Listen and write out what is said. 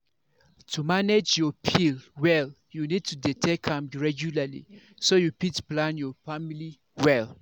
to manage your pill well you need to dey take am regularly so you fit plan your family well